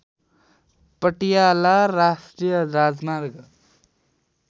पटियाला राष्‍ट्रिय राजमार्ग